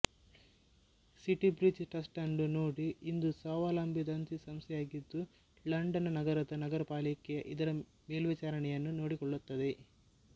city bridge trust ಅನ್ನು ನೋಡಿ ಇದು ಸ್ವಾವಲಂಬಿ ದತ್ತಿಸಂಸ್ಥೆಯಾಗಿದ್ದುಲಂಡನ್ ನಗರದ ನಗರಪಾಲಿಕೆ ಇದರ ಮೇಲ್ವಿಚಾರಣೆಯನ್ನು ನೋಡಿಕೊಳ್ಳುತ್ತದೆ